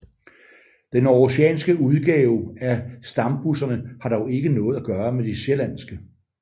Den aarhusianske udgave af stambusserne har dog ikke noget at gøre med de sjællandske